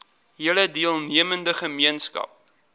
hele deelnemende gemeenskap